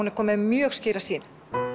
er komin með mjög skýra sýn